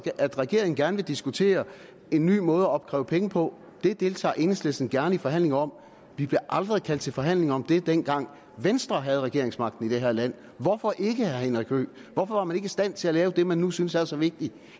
at regeringen gerne vil diskutere en ny måde at opkræve penge på det deltager enhedslisten gerne i forhandlinger om vi blev aldrig kaldt til forhandlinger om det dengang venstre havde regeringsmagten i det her land hvorfor ikke spørge herre henrik høegh hvorfor var man ikke i stand til at lave det man nu synes er så vigtigt i